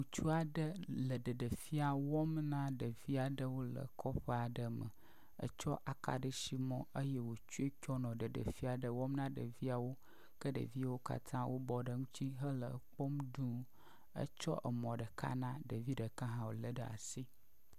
Ŋutsu aɖe le ɖeɖefia wɔm na ɖevi aɖewo le kɔƒe aɖe me. Etsɔ akaɖisimɔ eye wotsoe tsɔnɔ ɖeɖefia aɖe wɔm na ɖeviawo ke ɖeviwo katã wobɔ ɖe eŋuti hele ekpɔm duu etsɔ mɔ ɖeka na ɖevi ɖeka hã wolé ɖe asi.